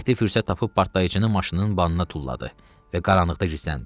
Mehdi fürsət tapıb partlayıcını maşının banına tulladı və qaranlıqda gizləndi.